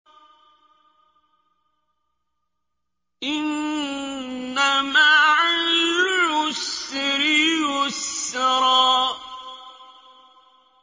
إِنَّ مَعَ الْعُسْرِ يُسْرًا